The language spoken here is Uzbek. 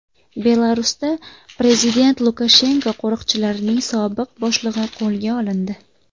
Belarusda prezident Lukashenko qo‘riqchilarining sobiq boshlig‘i qo‘lga olindi.